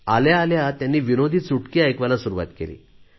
आल्या आल्या त्यांनी विनोदी चुटके ऐकवायला सुरुवात केली